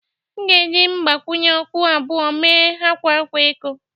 M ga-eji mgbakwunye okwu abụọ mee akwa akwa eko